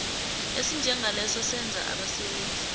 esinjengaleso senza abasebenzi